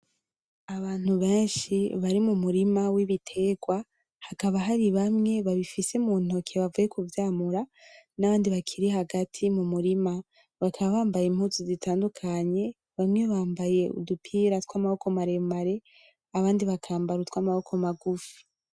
Abantu benshi bari mu murima w'ibitegwa, hakaba hari bamwe babifise mu ntoke bavuye kuvyamura; n'abandi bakiri hagati mu murima, bakaba bambaye impuzu zitandukanye, bamwe bambaye udupira tw'amaboko maremare; abandi bakambara utw'amaboko magufi.